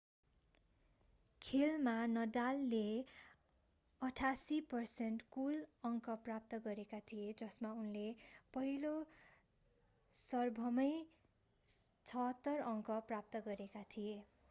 खेलमा नडालले 88% कुल अङ्क प्राप्त गरेका थिए जसमा उनले पहिलो सर्भमै 76% अङ्क प्राप्त गरेका थिए